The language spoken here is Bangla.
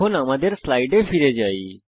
এখন আমাদের স্লাইডে ফিরে যাই